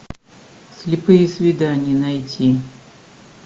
слепые свидания найти